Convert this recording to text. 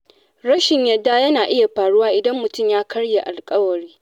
Rashin yarda yana iya faruwa idan mutum ya karya alƙawari.